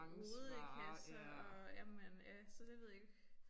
Rodekasser og jamen ja så det ved jeg ikke